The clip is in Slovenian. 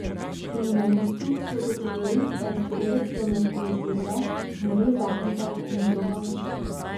Kriminalisti so ugotovili, da je storilec vlomil ob treh zjutraj, umoril zakonca in izropal hišo.